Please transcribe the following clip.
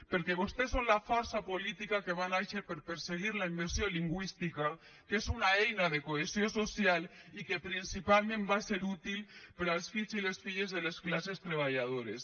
perquè vostès són la força política que va nàixer per perseguir la immersió lingüística que és una eina de cohesió social i que principalment va ser útil per als fills i les filles de les classes treballadores